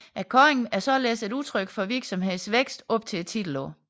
Kåringen er således et udtryk for virksomhedens vækst op til titelåret